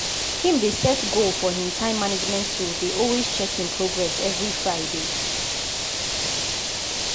him dey set goal for him time management tool dey also check him progress every friday.